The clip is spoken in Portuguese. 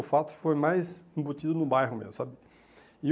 O fato foi mais embutido no bairro mesmo, sabe? E